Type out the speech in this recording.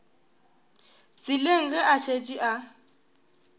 tseleng ge a šetše a